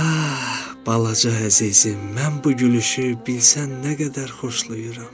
Ha, balaca əzizim, mən bu gülüşü bilsən nə qədər xoşlayıram.